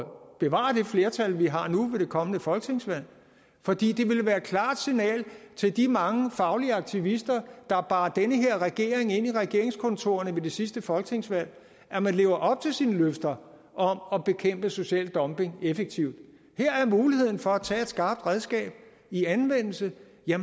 bevare det flertal vi har nu ved det kommende folketingsvalg fordi det ville være et klart signal til de mange faglige aktivister der bar den her regering ind i regeringskontorerne ved sidste folketingsvalg at man lever op til sine løfter om at bekæmpe social dumping effektivt her er muligheden for at tage et skarpt redskab i anvendelse